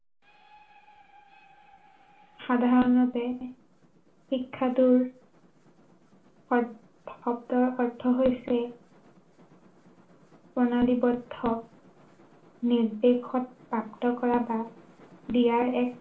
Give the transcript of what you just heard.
সাধাৰণতে, শিক্ষাটোৰ অৰ্থ শব্দৰ অৰ্থ হৈছে প্ৰণালীবদ্ধ, নিৰ্দেশত পাঠ্য় কৰা বা দিয়াৰ এক